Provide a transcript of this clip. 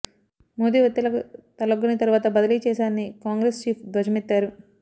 మోదీ వత్తిళ్లకు తలగ్గొని తరువాత బదిలీ చేశారని కాంగ్రెస్ చీఫ్ ధ్వజమెత్తారు